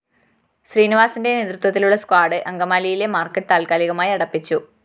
ശ്രീനിവാസന്റെ നേതൃത്വത്തിലുള്ള സ്ക്വാഡ്‌ അങ്കമാലിയിലെ മാര്‍ക്കറ്റ് താല്‍ക്കാലികമായി അടപ്പിച്ചു